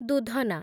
ଦୂଧନା